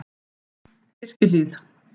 Mynd: Birkihlíð